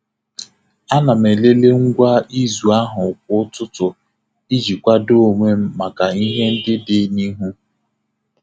A na m elele ngwa izu ahụ kwa ụtụtụ iji kwado onwe m maka ihe ndị dị n'ihu.